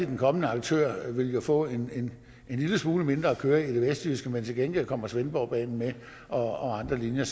den kommende aktør vil få en lille smule mindre kørsel i det vestjyske men til gengæld kommer svendborgbanen og andre linjer